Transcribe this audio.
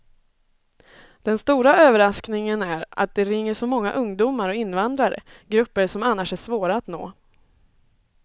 Den stora överraskningen är att det ringer så många ungdomar och invandrare, grupper som annars är svåra att nå.